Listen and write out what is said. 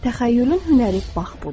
Təxəyyülün hünəri bax budur.